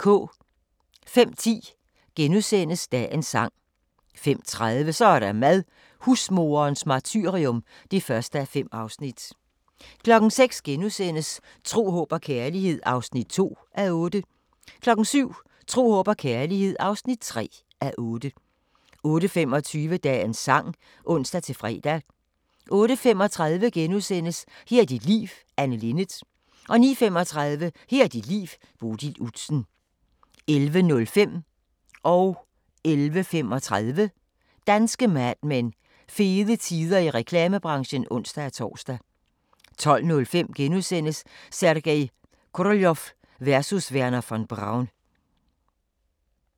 05:10: Dagens sang * 05:30: Så er der mad – husmoderens martyrium (1:5) 06:00: Tro, håb og kærlighed (2:8)* 07:00: Tro, håb og kærlighed (3:8) 08:25: Dagens Sang (ons-fre) 08:35: Her er dit liv – Anne Linnet * 09:35: Her er dit liv – Bodil Udsen 11:05: Danske Mad Men: Fede tider i reklamebranchen (ons-tor) 11:35: Danske Mad Men: Fede tider i reklamebranchen (ons-tor) 12:05: Sergej Koroljov versus Wernher von Braun *